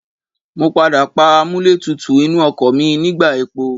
Mo padà pa amúlẹ̀tútù inú ọkọ̀ mi nígbà epo.